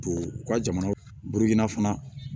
Don u ka jamana burukina fana